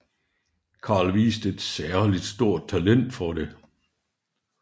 Carl viste et særligt stort talent for det